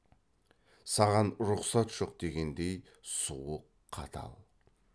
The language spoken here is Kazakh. саған рұхсат жоқ дегендей суық қатал